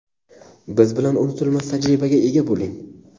Biz bilan unutilmas tajribaga ega bo‘ling!.